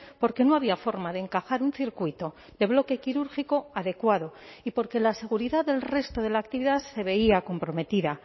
porque no había forma de encajar un circuito de bloque quirúrgico adecuado y porque la seguridad del resto de la actividad se veía comprometida